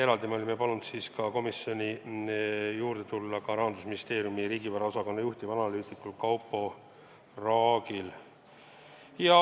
Eraldi me olime palunud kohale tulla Rahandusministeeriumi riigivara osakonna juhtivanalüütikul Kaupo Raagil.